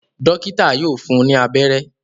Dọ́kítá yóò fun ní abẹ́rẹ́.